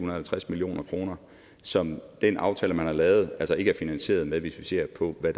og halvtreds million kr som den aftale man har lavet altså ikke er finansieret med hvis vi ser på hvor